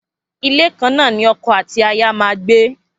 Ilé kan náà ni oko àti aya ma gbé